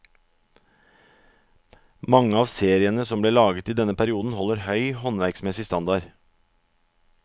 Mange av seriene som ble laget i denne perioden holder høy håndverksmessig standard.